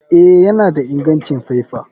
Eh, yana da ingancin faifa.